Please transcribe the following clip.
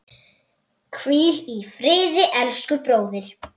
Hvíl í friði, elsku bróðir.